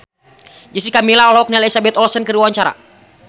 Jessica Milla olohok ningali Elizabeth Olsen keur diwawancara